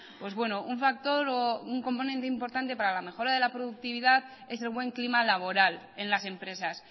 pues bueno un factor o un componente importante para la mejora de la productividad es el buen clima laboral en las empresas